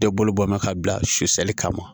Bɛɛ bolo bɔ mɛn ka bila susɛnli kama